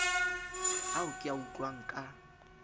ao ke a utlwang ka